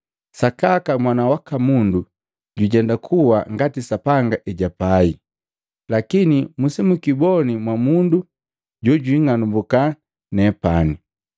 Sakaka Mwana waka Mundu jujenda kuwa ngati Sapanga ejapai, lakini musijikiboni mundu jojwiing'anumbuka nepani.”